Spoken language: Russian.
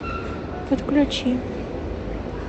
подключи